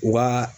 U ka